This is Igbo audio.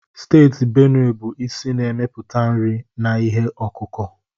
Steeti Benue bụ isi na-emepụta nri na ihe ọkụkụ.